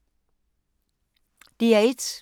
DR1